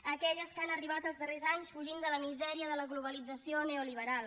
a aquelles que han arribat els darrers anys fugint de la misèria de la globalització neoliberal